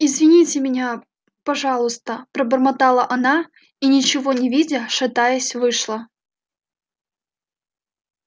извините меня пожалуйста пробормотала она и ничего не видя шатаясь вышла